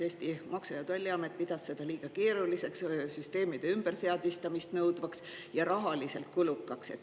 Eesti Maksu‑ ja Tolliamet pidas seda liiga keeruliseks, süsteemide ümberseadistamist nõudvaks ja rahaliselt kulukaks.